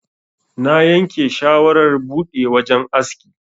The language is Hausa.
Na yanke shawarar buɗe wajan aski.